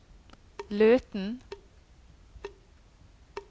Løten